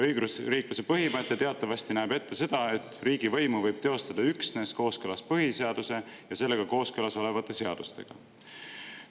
Õigusriikluse põhimõte teatavasti näeb ette seda, et riigivõimu võib teostada üksnes kooskõlas põhiseaduse ja sellega kooskõlas olevate seadustega.